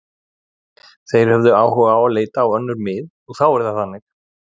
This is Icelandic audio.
Þeir höfðu áhuga á að leita á önnur mið og þá er það þannig.